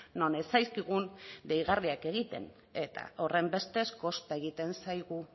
non ez zaizkigun deigarriak egiten eta horrenbestez kosta egiten zaigu